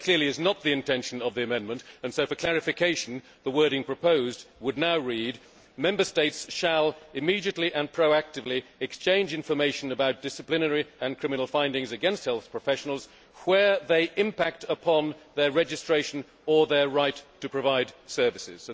That clearly is not the intention of the amendment and so, for clarification, the wording proposed would now read Member States shall, immediately and proactively, exchange information about disciplinary and criminal findings against health professionals where they impact upon their registration or their right to provide services'.